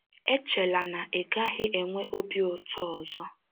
Echela na ị gaghị enwe obi ụtọ ọzọ.